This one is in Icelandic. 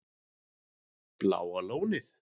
Bláa lónið